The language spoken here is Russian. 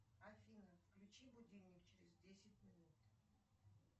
афина включи будильник через десять минут